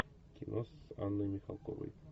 кино с анной михалковой